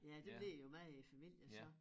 Ja den ligger jo meget i æ familie så